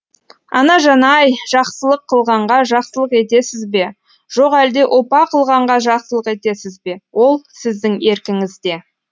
анажан ай жақсылық қылғанға жақсылық етесіз бе жоқ әлде опа қылғанға жақсылық етесіз бе ол сіздің еркіңізде